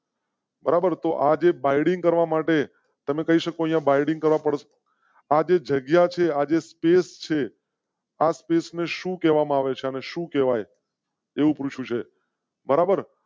બરાબર તો આજે બાઇન્ડીંગ કરવા માટે આ જગ્યા છે. આજે space છે. આ space ને શું કહેવા માં આવે છે અને સુ કેવાય. એવું પૂછ્યું છે